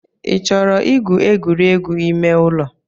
Ị chọrọ igwu egwuregwu ime ụlọ?